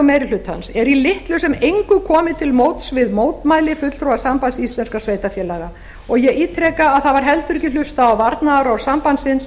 meiri hlutans er í litlu sem engu komið til móts við mótmæli fulltrúa sambands íslenskra sveitarfélaga og ég ítreka að það var heldur ekki hlustað á varnaðarorð sambandsins